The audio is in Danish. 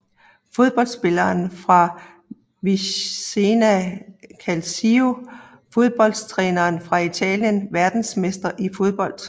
Fodboldspillere fra Vicenza Calcio Fodboldtrænere fra Italien Verdensmestre i fodbold